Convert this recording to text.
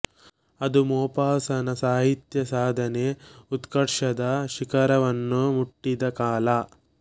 ಅದು ಮೊಪಾಸಾನ ಸಾಹಿತ್ಯ ಸಾಧನೆ ಉತ್ಕರ್ಷದ ಶಿಖರವನ್ನು ಮುಟ್ಟಿದ ಕಾಲ